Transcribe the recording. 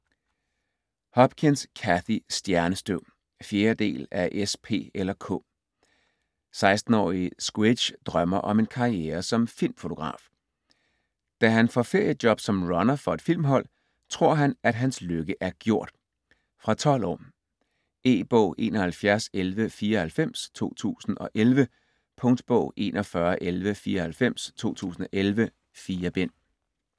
Hopkins, Cathy: Stjernestøv 4. del af S, P eller K. 16-årige Squidge drømmer om en karriere som filmfotograf. Da han får feriejob som runner for et filmhold tror han at hans lykke er gjort. Fra 12 år. E-bog 711194 2011. Punktbog 411194 2011. 4 bind.